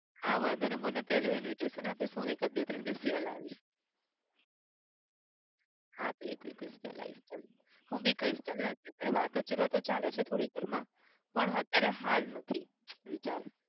હા વાંધો નહિ મને પહેલું invitation આપીશ હું એકાદ બે ત્રણ દિવસ વહેલા આવીશ હા તો એક week પહેલા આવીશ ચાલ હું બી કહીશ ચાલને અત્યારે વાતો-ચિતો તો ચાલે છે થોડી ઘરમાં. પણ અત્યારે હાલ નથી વિચાર.